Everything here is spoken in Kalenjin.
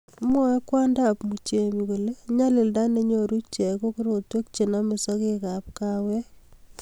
mwoei kwondab Muchemi kole nyalilda nenyoru ichek ko korotwek chenomei sokekab kaawek